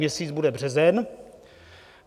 Měsíc bude březen.